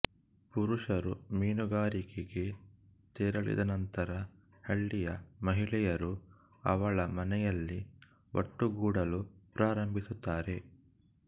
ಪುರುಷರು ಮೀನುಗಾರಿಕೆಗೆ ತೆರಳಿದ ನಂತರ ಹಳ್ಳಿಯ ಮಹಿಳೆಯರು ಅವಳ ಮನೆಯಲ್ಲಿ ಒಟ್ಟುಗೂಡಲು ಪ್ರಾರಂಭಿಸುತ್ತಾರೆ